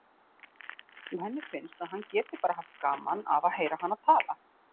Og henni finnst að hann geti bara haft gaman af að heyra hana tala.